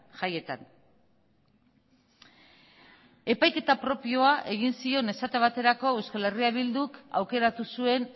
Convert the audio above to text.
jaietan epaiketa propioa egin zion esate baterako euskal herria bilduk aukeratu zuen